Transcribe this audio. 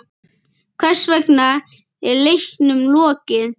Hvers vegna er leiknum lokið?